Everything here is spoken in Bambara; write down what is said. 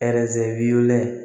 w wililen